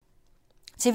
TV 2